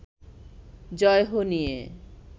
‘জয় হো’ নিয়ে